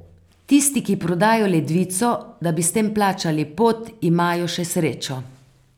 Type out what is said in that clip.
Tisti, ki prodajo ledvico, da bi s tem plačali pot, imajo še srečo.